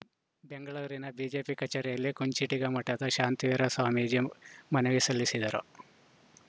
ಬೆಂಗಳೂರಿನ ಬಿಜೆಪಿ ಕಚೇರಿಯಲ್ಲಿ ಕುಂಚಿಟಿಗ ಮಠದ ಶಾಂತವೀರ ಸ್ವಾಮೀಜಿ ಮನವಿ ಸಲ್ಲಿಸಿದರು